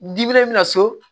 min na so